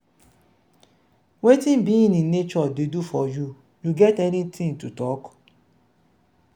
wetin being in nature dey do for you you get any thing to talk?